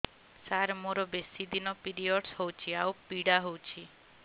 ସାର ମୋର ବେଶୀ ଦିନ ପିରୀଅଡ଼ସ ହଉଚି ଆଉ ପୀଡା ହଉଚି